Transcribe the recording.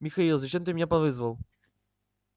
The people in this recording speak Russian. михаил зачем ты меня повызвал